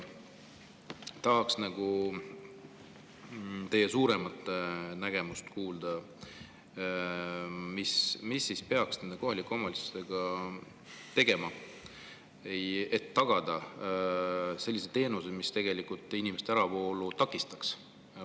Tahaks teie suuremat nägemust kuulda, mida siis peaks nende kohalike omavalitsustega tegema, et tagada sellised teenused, mis inimeste äravoolu takistaks.